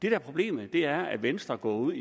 er problemet er at venstre går ud